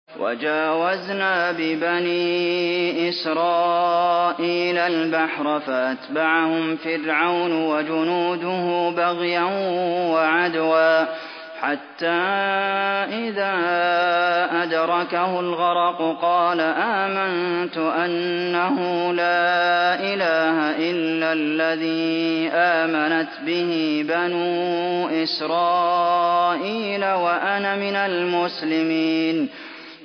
۞ وَجَاوَزْنَا بِبَنِي إِسْرَائِيلَ الْبَحْرَ فَأَتْبَعَهُمْ فِرْعَوْنُ وَجُنُودُهُ بَغْيًا وَعَدْوًا ۖ حَتَّىٰ إِذَا أَدْرَكَهُ الْغَرَقُ قَالَ آمَنتُ أَنَّهُ لَا إِلَٰهَ إِلَّا الَّذِي آمَنَتْ بِهِ بَنُو إِسْرَائِيلَ وَأَنَا مِنَ الْمُسْلِمِينَ